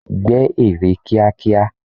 Gbẹ́ ère kíákíá!